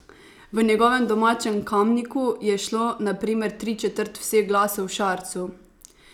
V njegovem domačem Kamniku je šlo, na primer, tri četrt vseh glasov Šarcu.